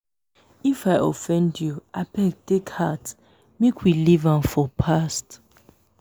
if i offend you abeg take heart. make we leave am for past